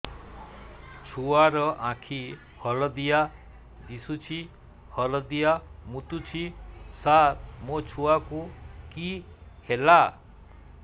ଛୁଆ ର ଆଖି ହଳଦିଆ ଦିଶୁଛି ହଳଦିଆ ମୁତୁଛି ସାର ମୋ ଛୁଆକୁ କି ହେଲା